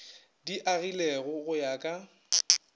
di agilwego go ya ka